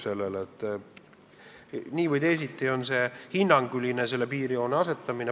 Nii või teisiti on see piirjoon hinnanguline.